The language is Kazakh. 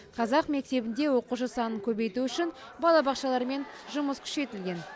қазақ мектебінде оқушы санын көбейту үшін балабақшалармен жұмыс күшейтілген